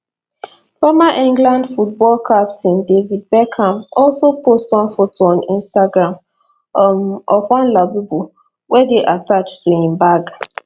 former england football captain david beckham also post one photo on instagram um of one labubu wey dey attached to im bag